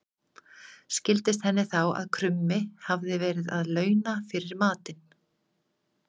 Skildist henni þá að krummi hafði verið að launa fyrir matinn.